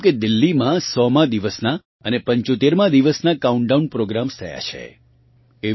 જેમ કે દિલ્લીમાં 100માં દિવસના અને 75માં દિવસના કાઉન્ટડાઉન પ્રોગ્રામ્સ થયાં છે